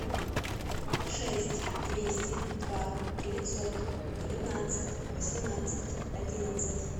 шесть двести два девятьсот девятнадцать восемнадцать одиннадцать